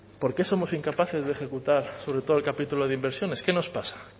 por qué somos incapaces de ejecutar sobre todo el capítulo de inversiones qué nos pasa